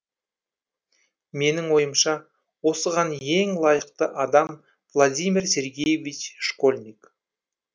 менің ойымша осыған ең лайықты адам владимир сергеевич школьник